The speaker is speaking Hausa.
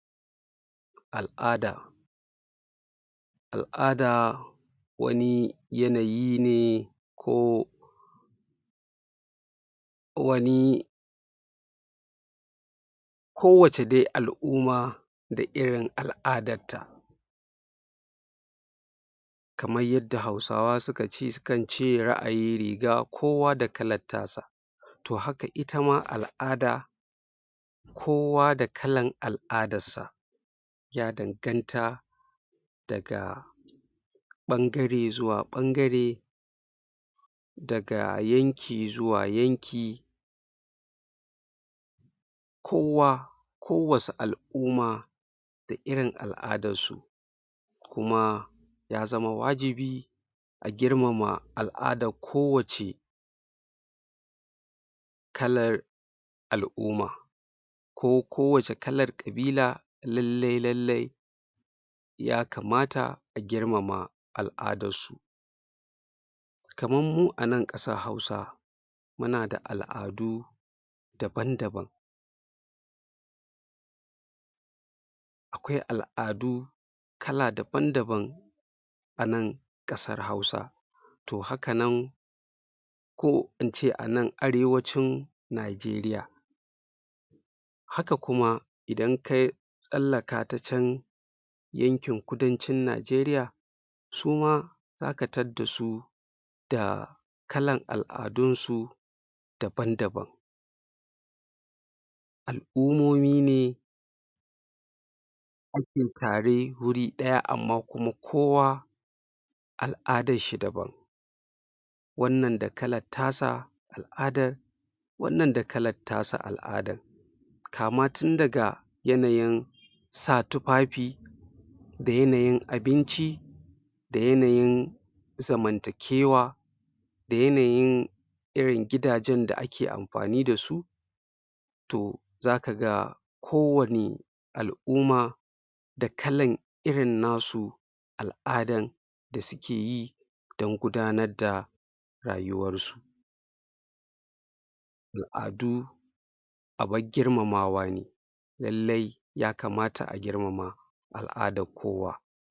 Al'ada al'ada wani yanayi ne, ko wani kowacce dai al'umma da irin al'adar ta kamar yadda Hausawa suka ce, sukan ce ra'ayi riga kowa da kalan tasa to haka ita ma al'ada kowa da kalan al'adan sa ya danganta daga ɓangare zuwa ɓangare daga yanki zuwa yanki kowa ko wasu al'umma da irin al'adar su kuma ya zama wajibi a girmama al'adar kowacce kalar al'umma ko kowacce kalar ƙabila lallai lallai yakamata a girmama al'adar su kaman mu anan ƙasar Hausa muna da al'adu daban-daban akwai al'adu kala daban-daban anan ƙasar Hausa to haka nan ko ince anan Arewacin Najeriya haka kuma idan kai ka tsallaka ta can yankin Kudancin Najeriya su ma zaka tadda su da kalan al'adun su daban-daban al'ummomi ne ake tare wuri ɗaya amma kuma kowa al'adar shi daban wannan da kalar ta sa adon wannan da kalar tasa al'adar kama tun daga yanayin sa tufafi da yanayin abinci da yanayin zamantakewa da yanayin irin gidajen da ake amfani da su to zaka ga kowani al'umma da kalan irin na su al'adan da suke yi dan gudanar da rayuwar su al'adu abin girmamawa ne, lallai yakamata a girmama al'adar kowa.